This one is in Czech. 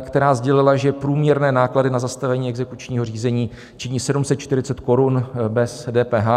která sdělila, že průměrné náklady na zastavení exekučního řízení činí 740 korun bez DPH.